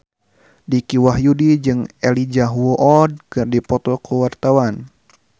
Dicky Wahyudi jeung Elijah Wood keur dipoto ku wartawan